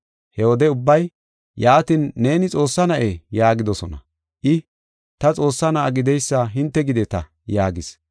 He wode ubbay, “Yaatin, neeni Xoossaa na7ee?” yaagidosona. I, “Ta Xoossaa na7a gideysa hinte gideta” yaagis.